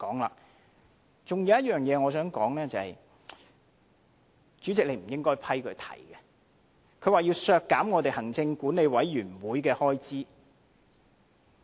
還有一點我想談的是，主席你不應批准他提出要削減立法會行政管理委員會的開支。